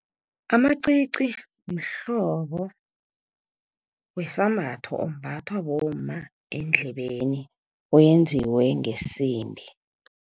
Amacici mhlobo wesambatho, ombathwa bomma endlebeni wenziwe ngesimbi.